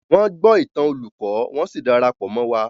Wọ́n gbọ́ ìtàn olùkó, wọ́n sì dara pọ̀ mọ́ wa.